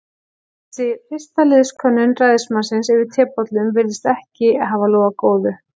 Þessi fyrsta liðskönnun ræðismannsins yfir tebollum virðist ekki hafa lofað góðu.